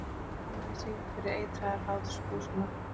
Skammaðist sín fyrir eitraðar hláturgusurnar.